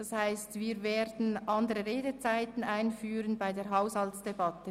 Nun stelle ich diesen dem Antrag 12 des Büros gegenüber.